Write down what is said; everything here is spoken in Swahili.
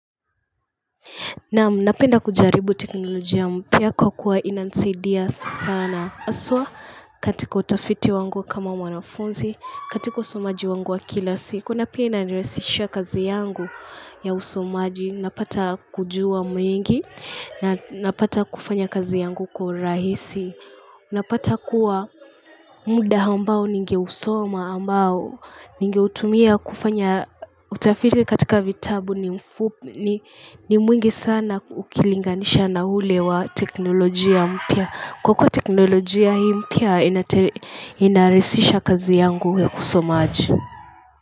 Na mnapenda kujaribu teknolojia mpia kwa kuwa inansaidia sana. Aswa katika utafiti wangu kama wanafunzi, katika usomaji wangu wa kilasi. Kuna pia inaresisha kazi yangu ya usomaji, napata kujua mwingi, napata kufanya kazi yangu kwa rahisi. Unapata kuwa muda ambao ninge usoma ambao ninge utumia kufanya utafiti katika vitabu ni mwingi sana ukilinganisha na ule wa teknolojia mpia. Kukwa teknolojia hii mpya inaresisha kazi yangu kusomaji.